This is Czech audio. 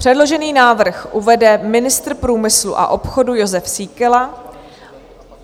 Předložený návrh uvede ministr průmyslu a obchodu Jozef Síkela.